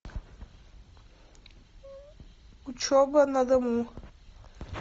учеба на дому